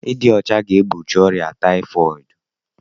Ịdị ọcha ga-egbochi ọrịa tayifọọdu